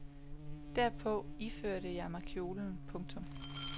Derpå iførte jeg mig kjolen. punktum